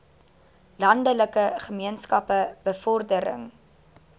landelike gemeenskappe bevordering